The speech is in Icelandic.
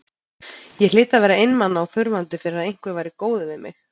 Ég hlyti að vera einmana og þurfandi fyrir að einhver væri góður við mig.